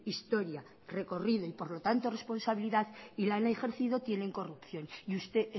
historia recorrido y por lo tanto responsabilidad y la han ejercido tienen corrupción y usted